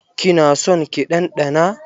Ki na son ki ɗanɗana?